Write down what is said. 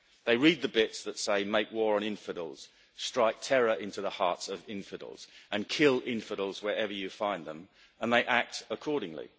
They read the bits that say make war on infidels, strike terror into the hearts of infidels, and kill infidels wherever you find them', and they act accordingly.